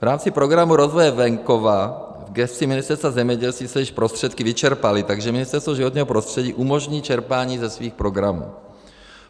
V rámci Programu rozvoje venkova v gesci Ministerstva zemědělství se již prostředky vyčerpaly, takže Ministerstvo životního prostředí umožní čerpání ze svých programů.